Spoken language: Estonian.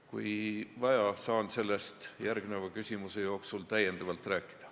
Kui vaja, saan sellest järgmise küsimuse raames täiendavalt rääkida.